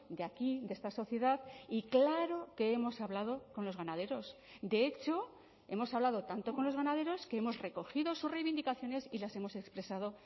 de aquí de esta sociedad y claro que hemos hablado con los ganaderos de hecho hemos hablado tanto con los ganaderos que hemos recogido sus reivindicaciones y las hemos expresado